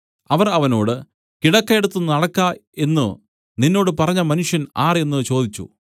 അവർ അവനോട് കിടക്ക എടുത്തു നടക്ക എന്നു നിന്നോട് പറഞ്ഞ മനുഷ്യൻ ആർ എന്നു ചോദിച്ചു